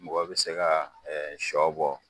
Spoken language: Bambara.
Mɔgɔ be se ga ɛ sɔ bɔ